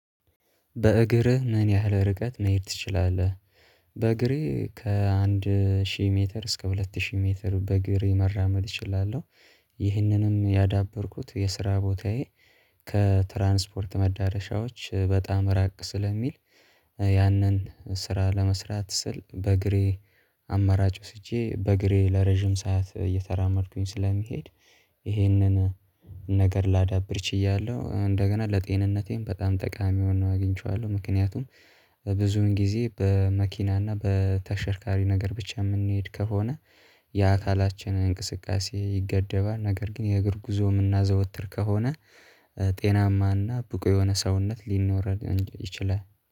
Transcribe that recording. በእግርህ ምን ያህል ርቀት መሄድ ትችላለህ? በእግሬ ከአንድ ሺህ ሜትር እስከ ሁለት ሺህ ሜትር በእግሬ መራመድ እችላለሁ። ይህንንም ያዳበርኩት የስራ ቦታዬ ከትራንስፖርት መዳረሻዎች በጣም ራቅ ስለሚል። ያንን ስራ ለመስራት ስል በእግሬ አማራጭ ወስጄ በእግሬ ለረጅም ሰዓት እየተራመድኩኝ ስለሚሄድ። ይሄንን ነገር ላዳብር ችያለሁ እንደገና ለጤንነቴም በጣም ጠቃሚ ሆኖ አግኝቼዋለሁ ምክንያቱም። ብዙን ጊዜ በመኪና እና በተሸርካሪ ነገር ብቻ የምንሄድ ከሆነ። የአካላችንን እንቅስቃሴ ይገደባል ነገር ግን የእግር ጉዞ የምናዘወትር ከሆነ። ጤናማና ብቁ የሆነ ሰውነት ሊኖረን ይችላል